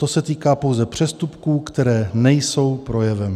To se týká pouze přestupků, které nejsou projevem.